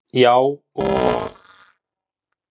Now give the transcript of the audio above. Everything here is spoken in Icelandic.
Já, og